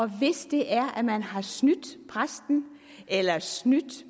hvis det er at man har snydt præsten eller snydt